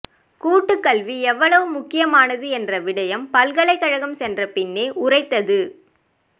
கூட்டுக்கல்வி எவ்வளவு முக்கியமானது என்ற விடயம் பல்கலைக்கழம் சென்ற பின்பே உறைத்தது